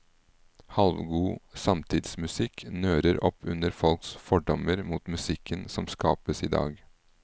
Halvgod samtidsmusikk nører opp under folks fordommer mot musikken som skapes i dag.